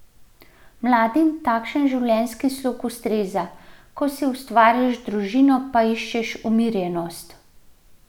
Mladim takšen življenjski slog ustreza, ko si ustvarjaš družino, pa iščeš umirjenost.